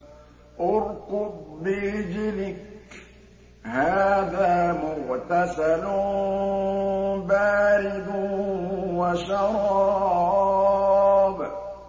ارْكُضْ بِرِجْلِكَ ۖ هَٰذَا مُغْتَسَلٌ بَارِدٌ وَشَرَابٌ